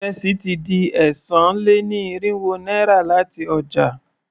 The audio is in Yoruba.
Ìrẹsì ti di ẹ́sàn-án-lé-ní-irínwó náírà láti ọjà.